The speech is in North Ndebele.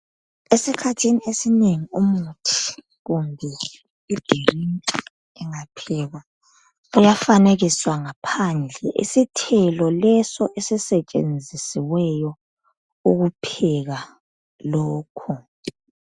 esikhathini esinengi umuthi kumbe idilinki ingaphekwa iyafanekiswa ngaphandle isithelo leso esisetshenzisiweyo ukupheka lokhu